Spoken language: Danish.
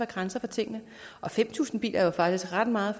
grænser for tingene fem tusind biler er jo faktisk ret meget